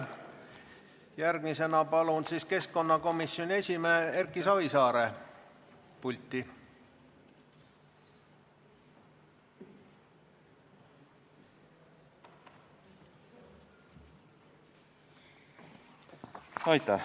Järgmisena palun pulti keskkonnakomisjoni esimehe Erki Savisaare!